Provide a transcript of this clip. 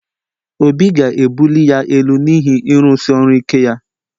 Obi ga-ebuli ya elu n’ihi ịrụsi ọrụ ike ya